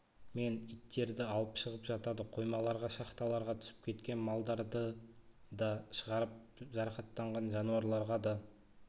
мен иттерді алып шығып жатады қоймаларға шахталарға түсіп кеткен малдарды да шығарып жарақаттанған жануарларға да